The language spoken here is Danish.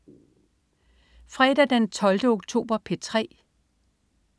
Fredag den 12. oktober - P3: